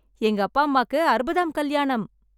எங்க அப்பா அம்மாக்கு அறுபதாம் கல்யாணம்.